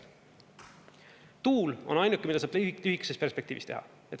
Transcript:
Tuul on ainuke, mida saab lühikeses perspektiivis teha.